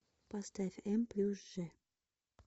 поставь м плюс ж